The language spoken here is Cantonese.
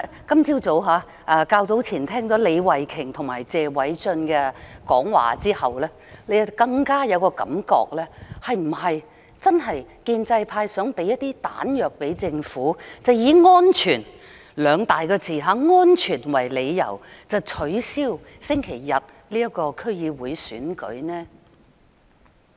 較早前，我聽了李慧琼議員及謝偉俊議員的發言後，更有種感覺——建制派是否真的想給政府一些彈藥，以"安全"這兩大個字為理由，取消星期日的區議會選舉呢？